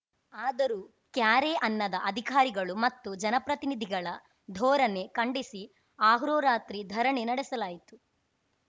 ಆದರೂ ಕ್ಯಾರೇ ಅನ್ನದ ಅಧಿಕಾರಿಗಳು ಮತ್ತು ಜನಪ್ರತಿನಿಧಿಗಳ ಧೋರಣೆ ಖಂಡಿಸಿ ಅಹೋರಾತ್ರಿ ಧರಣಿ ನಡೆಸಲಾಯಿತು